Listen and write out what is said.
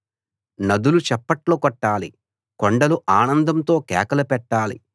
నదులు చప్పట్లు కొట్టాలి కొండలు ఆనందంతో కేకలు పెట్టాలి